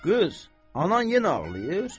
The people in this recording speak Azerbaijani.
Qız, anan yenə ağlayır?